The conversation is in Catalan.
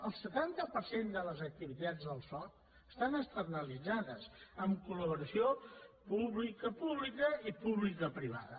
el setanta per cent de les activitats del soc estan externalitzades amb col·laboració publicopública i publicoprivada